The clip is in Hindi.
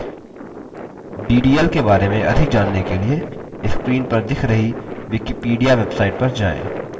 ddl के बारे में अधिक जानने के लिए screen पर दिख रही wikipedia website पर जाएँ